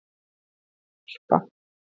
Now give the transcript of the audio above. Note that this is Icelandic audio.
Harpa